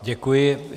Děkuji.